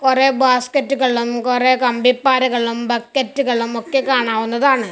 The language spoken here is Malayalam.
കുറെ ബാസ്ക്കറ്റുകളും കൊറേ കമ്പിപ്പാരകളും ബക്കറ്റുകളും ഒക്കെ കാണാവുന്നതാണ്.